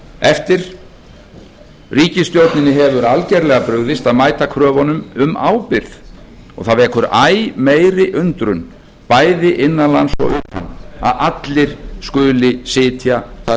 eftir ríkisstjórnin hefur algerlega brugðist að mæta kröfunum um ábyrgð og það vekur æ meiri undrun bæði innan lands og utan að allir skuli sitja þar sem þeir sitja ráðherrar forustumenn eftirlitsstofnana og